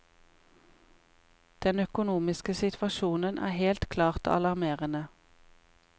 Den økonomiske situasjonen er helt klart alarmerende.